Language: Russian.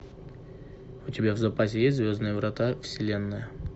у тебя в запасе есть звездные врата вселенная